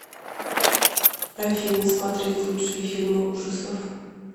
афина смотреть лучшие фильмы ужасов